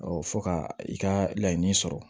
fɔ ka i ka laɲini sɔrɔ